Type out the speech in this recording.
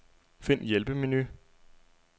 Find hjælpemenu.